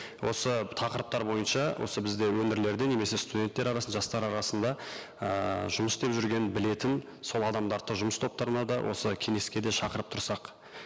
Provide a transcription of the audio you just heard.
осы тақырыптар бойынша осы бізде өңірлерде немесе студенттер арасында жастар арасында ыыы жұмыс істеп жүрген білетін сол адамдарды да жұмыс топтарына да осы кеңеске де шақырып тұрсақ